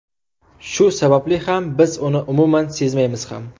Shu sababli ham biz uni umuman sezmaymiz ham.